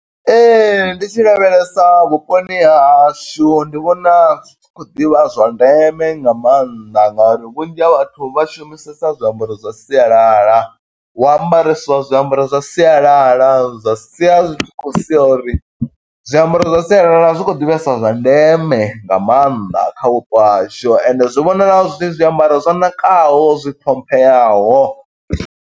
Ndi tshi lavhelesa vhuponi ha hashu ndi vhona, zwi tshi khou ḓivha zwa ndeme nga maanḓa, ngo uri vhunzhi ha vhathu vha shumisesa zwiambaro zwa sialala. Hu ambareswa zwiambaro zwa sialala, zwa sia zwi tshi khou sia uri zwiambaro zwa sialala zwi khou ḓi vhesa zwa ndeme, nga maanḓa kha vhupo hashu. Ende zwi vhonala zwi zwiambaro zwo ṋakaho, zwi ṱhompheyaho.